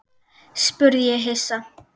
spurði ég hissa.